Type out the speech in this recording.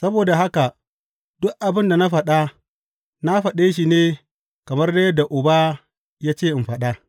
Saboda haka duk abin da na faɗa na faɗe shi ne kamar dai yadda Uba ya ce in faɗa.